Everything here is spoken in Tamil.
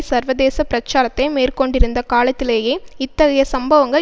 சர்வதேச பிரச்சாரத்தை மேற்கொண்டிருந்த காலத்திலேயே இத்தகைய சம்பவங்கள்